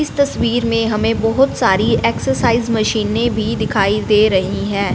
इस तस्वीर मे हमे बहोत सारी एक्सरसाइज मशीनें भी दिखाई दे रही है।